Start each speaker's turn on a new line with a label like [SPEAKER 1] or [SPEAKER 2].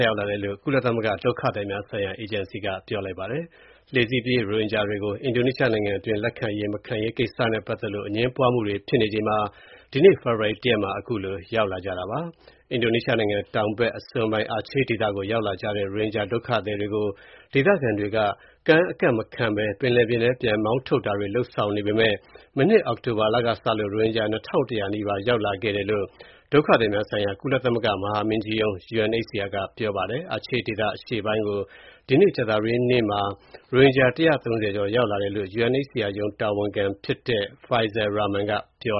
[SPEAKER 1] ရောက်လာတယ်လို့ ကုလသမဂ္ဂ ဒုက္ခသည်များဆိုင်ရာ အေဂျင်စီက ပြောပါတယ်။ ဒါဟာ လှေစီးပြေး ရိုဟင်ဂျာတွေကို အင်ဒိုနီးရှားနိုင်ငံအတွင်း လက်ခံရေး၊ မခံရေးကိစ္စနဲ့ပတ်သက်လို့ အငြင်းပွားမှုတွေ ဖြစ်နေချိန်မှာ အခုလို ထပ်ရောက်လာတာပါ။ အင်ဒိုနီးရှားနိုင်ငံ တောင်ဘက် အစွန်းပိုင်း Aceh ဒေသကို ရောက်လာကြတဲ့ ရိုဟင်ဂျာဒုက္ခသည်တွေကို ဒေသခံတွေက ကမ်းအကပ်မခံဘဲ ပင်လယ်ပြင်ထဲ ပြန်မောင်းထုတ်တာတွေ လုပ်ဆောင်နေပေမယ့် မနှစ် အောက်တိုဘာလကစလို့ ရိုဟင်ဂျာ ၂,၀၀၀ နီးပါး ရောက်လာခဲ့တယ်လို့ ဒုက္ခသည်များဆိုင်ရာ ကုလသမဂ္ဂ မဟာမင်းကြီးရုံး UNHCR က ပြောပါတယ်။ Aceh ဒေသ အရှေ့ပိုင်းကို ဒီကနေ့ ကြာသပတေးနေ့မှာ ရိုဟင်ဂျာ ၁၃၀ ကျော် ရောက်လာကြတာလို့ UNHCR ရုံး တာဝန်ရှိသူတဦးဖြစ်တဲ့ Faisal Rahman က ပြော